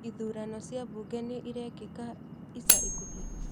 Ithurano cia buunge nĩ irekĩka ica ikuhĩ?